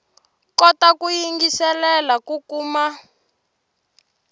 kota ku yingiselela ku kuma